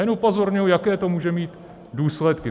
Jen upozorňuji, jaké to může mít důsledky.